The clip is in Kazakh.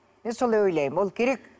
мен солай ойлаймын ол керек